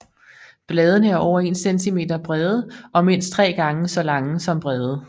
Bladene er over 1 cm brede og mindst 3 gange så lange som brede